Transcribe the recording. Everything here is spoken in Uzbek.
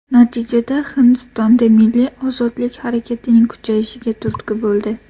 Natijada, Hindistonda milliy ozodlik harakatining kuchayishiga turtki bo‘ldi.